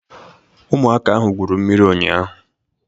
Ụmụaka ahụ gwuru mmiri ụnyaahụ.